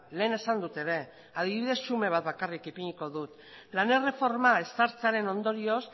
lehen esan dut ere adibide xume bat bakarrik ipiniko dut lan erreforma ezartzearen ondorioz